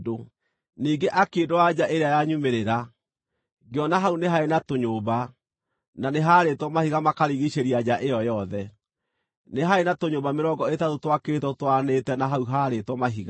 Ningĩ akĩndwara nja ĩrĩa ya nyumĩrĩra. Ngĩona hau nĩ haarĩ na tũnyũmba, na nĩ haarĩtwo mahiga makarigiicĩria nja ĩyo yothe; nĩ haarĩ na tũnyũmba mĩrongo ĩtatũ twakĩtwo tũtwaranĩte na hau haarĩtwo mahiga.